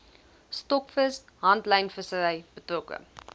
stokvis handlynvissery betrokke